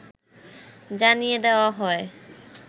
জানিয়ে দেওয়া হয়